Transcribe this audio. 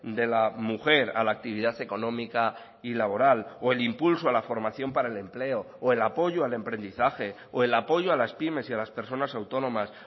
de la mujer a la actividad económica y laboral o el impulso a la formación para el empleo o el apoyo al emprendizaje o el apoyo a las pymes y a las personas autónomas